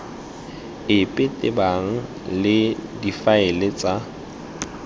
epe tebang le difaele tsa